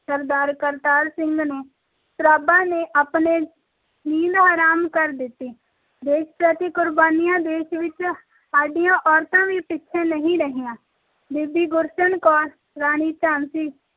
ਸਰਦਾਰ ਕਰਤਾਰ ਸਿੰਘ ਸਰਾਭਾ ਨੇ ਅਨਰੇਜਾਂ ਦੀ ਨੀਂਦ ਹਰਮ ਕਰ ਦਿੱਤੀ ਦੇਸ਼ ਪ੍ਰਤੀ ਕੁਰਬਾਨੀਆਂ ਦੇਣ ਵਿਚ ਸਾਡੀਆਂ ਔਰਤਾਂ ਵੀ ਪਿੱਛੇ ਨਹੀਂ ਰਹੀਆਂ ਬੀਬੀ ਗੁਰਸ਼ਰਨ ਕੌਰ ਤੇ ਰਾਣੀ ਝਾਂਸੀ